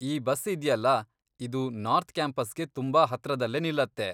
ಈ ಬಸ್ ಇದ್ಯಲ್ಲ, ಇದು ನಾರ್ತ್ ಕ್ಯಾಂಪಸ್ಗೆ ತುಂಬಾ ಹತ್ರದಲ್ಲೇ ನಿಲ್ಲತ್ತೆ.